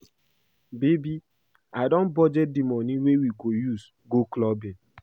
Babe I don budget the money wey we go use go clubbing